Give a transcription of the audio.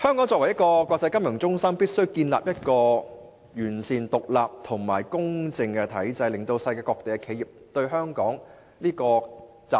作為國際金融中心，香港必須建立一個完善、獨立及公正的體制，令世界各地的企業有信心前來香港集資。